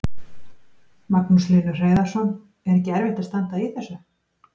Magnús Hlynur Hreiðarsson: Er ekki erfitt að standa í þessu?